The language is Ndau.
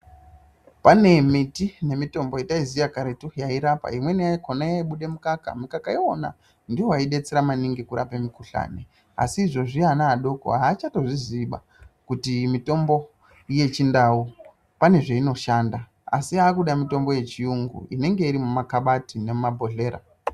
Pane miti nemitombo yataiziva inorapa imweni yakona inemukaka mikaka wakona ndiwo waidetsera maningi kurapa mikuhlani asi izvezvi ana adoko achazvizivi kuti mitombo yechindau pane zvinoshanda asi akuda mitombo yechirungu inenge iri munakabati nemuzvibhohleya.